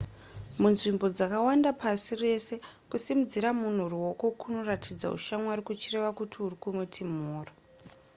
munzvimbo dzakawanda pasi rese kusimudzira munhu ruoko kunoratidza ushamwari kuchireva kuti uri kumuti mhoro